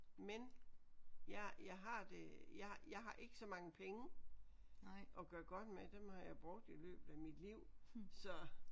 Men jeg jeg har det jeg har jeg har ikke så mange penge at gøre godt med dem har jeg brugt i løbet af mit liv så